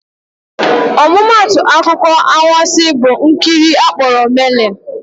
Ọmụmaatụ akụkọ anwansị bụ nkiri akpọrọ "Merlin."